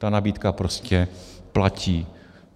Ta nabídka prostě platí.